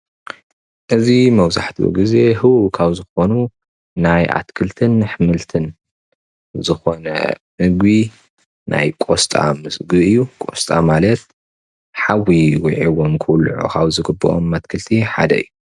እዚ መብዛሕትኡ ግዜ ህዉ ካብ ዝኮኑ ናይ ኣትክልትን ኣሕመልትን ዝኾነ ምግቢ ናይ ቆስጣ ምግቢ እዩ። ቆስጣ ማለት ሓዊ ውዒዎም ክብልዑ ካብ ዝግብኡ ኣትክልቲ ሓደ እዩ።